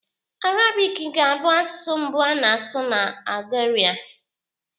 Arabic ga-abụ asụsụ mbụ a na-asụ na Algeria